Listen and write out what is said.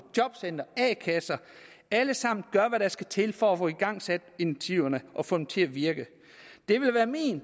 jobcentre og a kasser alle sammen gør hvad der skal til for at få igangsat initiativerne og få dem til at virke